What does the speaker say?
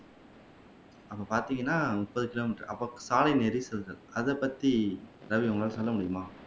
அங்க பார்த்தீங்கன்னா முப்பது கிலோமீட்டர் அப்ப சாலை நெரிசல்கள் அத பத்தி ரவி உங்களால சொல்ல முடியுமா